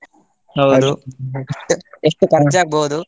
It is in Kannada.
, ಎಷ್ಟು ಎಷ್ಟು ?